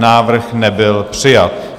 Návrh nebyl přijat.